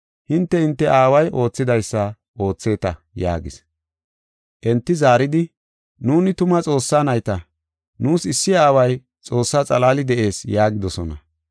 Hinte, hinte aaway oothidaysa ootheeta” yaagis. Enti zaaridi, “Nuuni tuma Xoossaa nayta; nuus issi Aaway Xoossaa xalaali de7ees” yaagidosona.